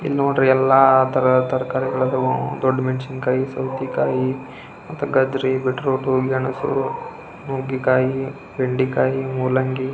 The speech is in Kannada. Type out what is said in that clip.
ಇವಾಗ್ ಅಂತು ತರ್ಕಾರಿ ರೇಟ್ ತುಂಬಾನೇ ಆಗಿದೆ ಹಾಗಂತ ತರ್ಕಾರಿ ತೊಗಳ್ದೆ ಏರುಕೆ ಅಗುಳ ತರ್ಕಾರಿ ಇಲಾ ಅಂದ್ರೆ ಮನೆ ಎಲ್ಲಿ ಸಾಂಬಾರ್ ರೇ ಅಗುದಿಲ್ಲಾ.